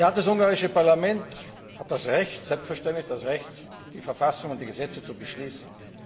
Das ungarische Parlament hat selbstverständlich das Recht, die Verfassung und die Gesetze zu beschließen.